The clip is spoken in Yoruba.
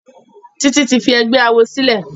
Titi tí fí ègbé àwo sílè.